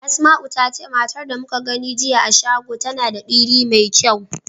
Asma'u ta ce matar da muka gani a shago tana da diri mai kyau.